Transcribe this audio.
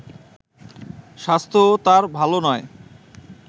স্বাস্থ্যও তার ভালো নয়